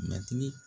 Matigi